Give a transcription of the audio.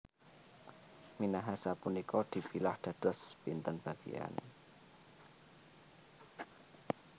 Minahasa punika dipilah dados pinten bagian